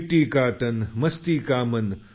मिट्टी का तन मस्ती का मन